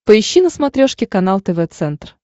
поищи на смотрешке канал тв центр